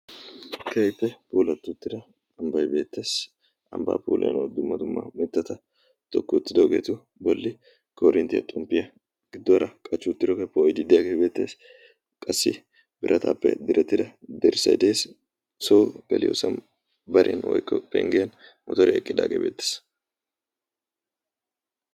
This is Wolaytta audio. keehippe polatti uttida ambbay beettees. ambbaafulano dumma dumma mittata tokki uttidoogeetu bolli korinttiyaa xomppiyaa gidduwaara qachchuuttirookeeppa ididdiyaagee beettees. qassi birataappe direttida borssay dees so peliyoosa barin woykko penggiyan motore eqqidaagee beettees.